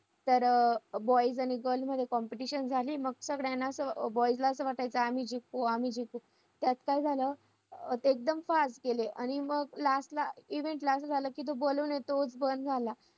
झालं ना.